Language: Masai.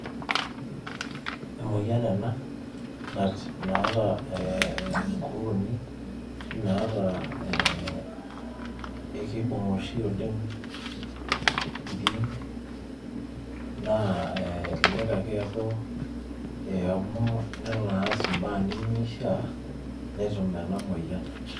Emoyian ena, naata inkukuuni ashu nata ekibung' oshi oleng ildiein, naa elelek ake eku amu nelo aas imbaa nimishaa, netum ena moyian.